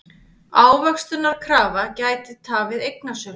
Ávöxtunarkrafa gæti tafið eignasölu